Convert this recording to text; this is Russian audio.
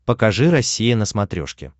покажи россия на смотрешке